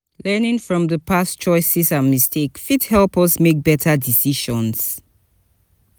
learning from di past choices and mistakes fit help us make better decisions